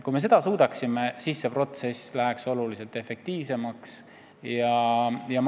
Kui me seda suudaksime, siis läheks protsess tunduvalt efektiivsemaks.